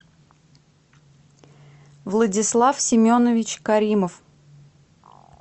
владислав семенович каримов